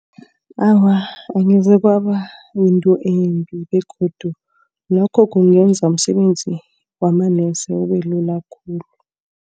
Awa angeze kwaba yinto embi begodu lokho kungenza umsebenzi wamanesi ube lula khulu.